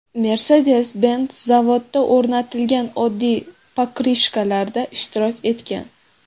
Mercedes-Benz zavodda o‘rnatilgan oddiy pokrishkalarida ishtirok etgan.